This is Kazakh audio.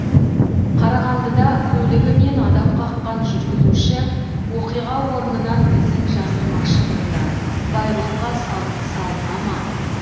қарағандыда көлігімен адам қаққан жүргізуші оқиға орнынан ізін жасырмақшы болды байлыққа салық салына ма